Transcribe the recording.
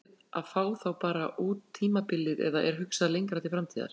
Eruð þið að fá þá bara út tímabilið eða er hugsað lengra til framtíðar?